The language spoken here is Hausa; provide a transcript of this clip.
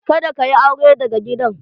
Kada ka yi aure daga gidan!